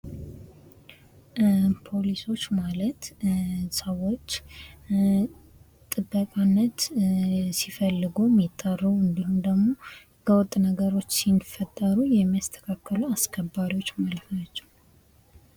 ፖሊሶች ማለት ሰዎች ጥበቃነት ሲፈልጉ የሚጠሩ እንዲሁም ደግሞ ህገወጥ ነገሮች ሲፈጠሩ የሚያስተካከሉ አስከባሪዎች ማለት ናቸው።